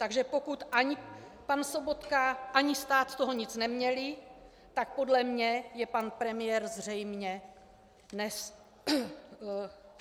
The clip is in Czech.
Takže pokud ani pan Sobotka, ani stát z toho nic neměli, tak podle mě je pan premiér zřejmě